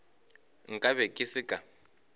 nka be ke se ka